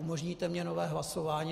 Umožníte mi nové hlasování?